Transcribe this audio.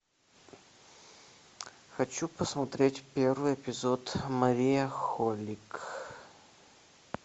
хочу посмотреть первый эпизод мария холик